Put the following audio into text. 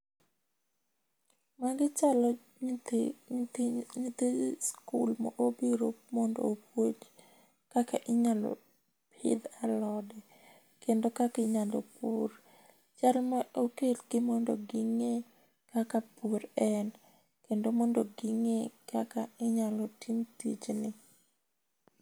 magi chalo nyithi school mobiro mondo opuonj kaka inyalo pidh alode kendo kaka inyalo pur, chalni okel gi mondo gi ngee kaka pur en kendo mondo gingee kaka inyalo tim tijni